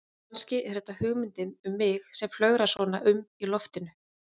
Kannski er þetta hugmyndin um mig sem flögrar svona um í loftinu.